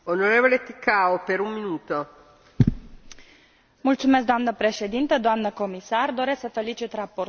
În 2010 Comisia și statele membre vor revizui modul de utilizare a Fondurilor structurale și gradul de absorbție al acestora.